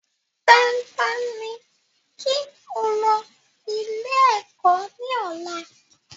Dandan ni kí o lọ ilé ẹ̀kọ́ ní ọ̀la